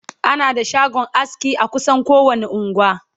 ana da shagon aski a kusan kowani unguwa